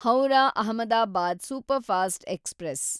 Howrah Ahmedabad superfast express